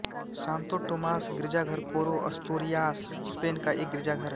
Santo Tomas गिरजाघर Coro Asturias Spain का एक गिरजाघर है